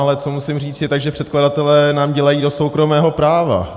Ale co musím říct, je to, že předkladatelé nám dělají do soukromého práva.